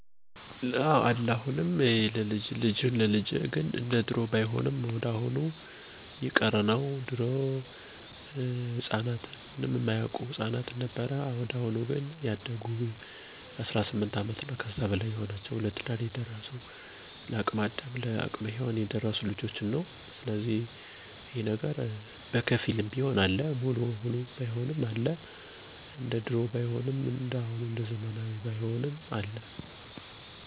ልጅህን ለልጄ በመባባል የወዳጅነት ማጠንከሪያ የጋብቻ ባህል አለ ጎጃም ላይ።